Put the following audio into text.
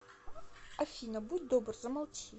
афина будь добр замолчи